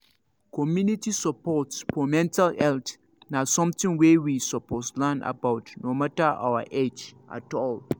community support for mental health na something wey we suppose learn about no matter our age at all